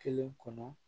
Kelen kɔnɔ